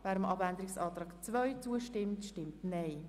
wer die Planungserklärung 3 annehmen will, stimmt Nein.